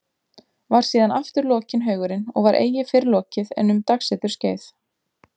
Var síðan aftur lokinn haugurinn og var eigi fyrr lokið en um dagseturs skeið.